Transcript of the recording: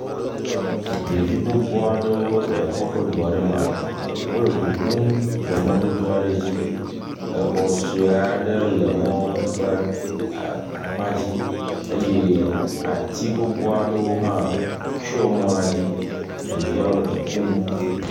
Ɖevi gbogbo le kɔƒe du aɖe me wole du ƒum le mɔdodo aɖe dzi. Exɔ sue aɖe le emɔ ƒe akpa aɖe dzi eye ati gbogbo aɖe tsɔ mɔ la dzi eye wole du ƒum.